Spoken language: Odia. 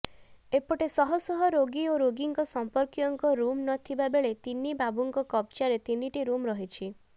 ଏପଟେ ଶହଶହ ରୋଗୀ ଓ ରୋଗୀଙ୍କ ସମ୍ପର୍କୀୟଙ୍କ ରୁମ୍ ନଥିବାବେଳେ ତିନି ବାବୁଙ୍କ କବ୍ଜାରେ ତିନିଟି ରୁମ୍ ରହିଛି